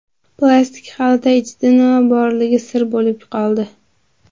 Plastik xalta ichida nima borligi sir bo‘lib qoldi.